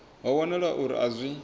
ho wanala uri a zwi